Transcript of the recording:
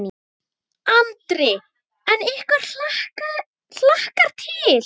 Andri: En ykkur hlakkar til?